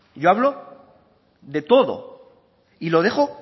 yo hablo de todo y lo dejo